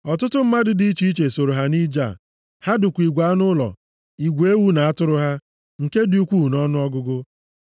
Ọtụtụ mmadụ dị iche iche sooro ha nʼije ha. Ha dukwa igwe anụ ụlọ, igwe ewu na atụrụ ha, nke dị ukwu nʼọnụọgụgụ.